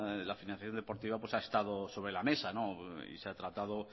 ha estado sobre la mesa se ha tratado